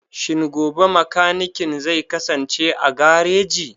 Shin gobe mekanikin zai kasance a gareji?